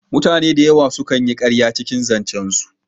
Mutane dayawa su kan yi ƙarya cikin zancen su